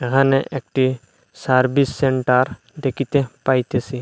এখানে একটি service centre দেখিতে পাইতেসি।